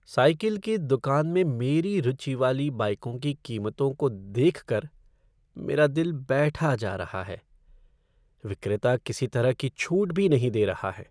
Cycle की दुकान में मेरी रुचि वाली बाइकों की कीमतों को देख कर मेरा दिल बैठा जा रहा है। विक्रेता किसी तरह की छूट भी नहीं दे रहा है।